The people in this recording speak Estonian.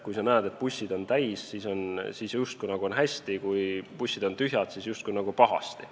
Kui sa näed, et bussid on täis, siis on justkui hästi, kui bussid on tühjad, siis on justkui pahasti.